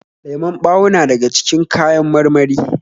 Lemon ɓawo na daga cikin kawan marmari